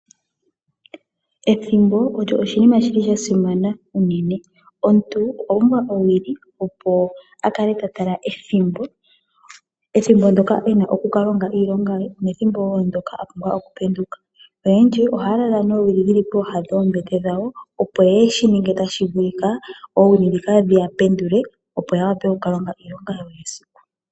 Ethimbo olyo oshinima shi li sha simana unene. Omuntu okwa pumbwa owili opo a kale ta tala ethimbo, ethimbo ndyoka e na okuka longa iilonga ye nethimbo wo ndyoka a pumbwa okupenduka. Oyendji ohaya lala noowili pooha dhoombete dhawo , opo ye shi ninge tashi vulika oowili ndhika dhi ya pendule opo ya wape okuka longa iilonga yawo yesiku.